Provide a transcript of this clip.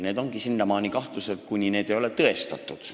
Need ongi senimaani kahtlused, kuni need ei ole tõestatud.